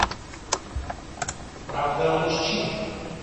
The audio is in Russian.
правда о мужчинах